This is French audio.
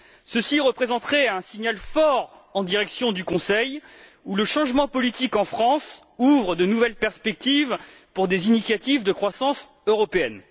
Ceci représenterait un signal fort en direction du Conseil, où le changement politique en France ouvre de nouvelles perspectives pour des initiatives de croissance européenne.